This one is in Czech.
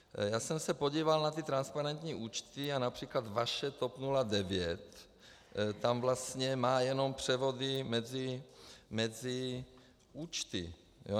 Já jsem se podíval na ty transparentní účty a například vaše TOP 09 tam vlastně má jenom převody mezi účty.